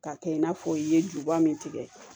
K'a kɛ i n'a fɔ i ye juba min tigɛ